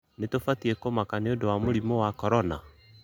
Nĩtũbatĩe kũmaka nĩũndũ wa mũrĩmũ wa Korona?